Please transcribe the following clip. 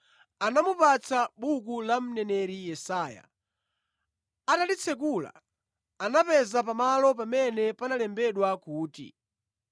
Anamupatsa buku la mneneri Yesaya. Atalitsekula, anapeza pamalo pamene panalembedwa kuti,